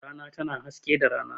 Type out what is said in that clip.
Rana tana haske da rana.